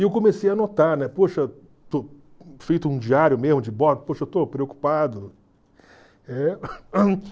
E eu comecei a notar, né, poxa, feito um diário mesmo de bordo, poxa, eu estou preocupado.